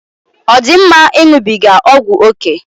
Ọ dị mma ịṅụbiga ọgwụ ókè?